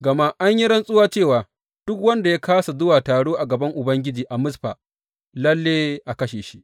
Gama an yi rantsuwa cewa duk wanda ya kāsa zuwa taro a gaban Ubangiji a Mizfa lalle a kashe shi.